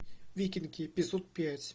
викинги эпизод пять